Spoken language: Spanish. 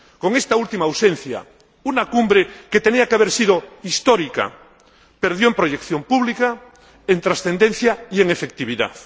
Con esta última ausencia, una cumbre que tenía que haber sido histórica perdió en proyección pública, en trascendencia y en efectividad.